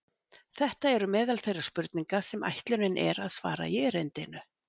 Þetta eru meðal þeirra spurninga sem ætlunin er að svara í erindinu.